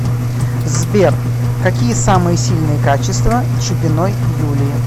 сбер какие самые сильные качества чупиной юлии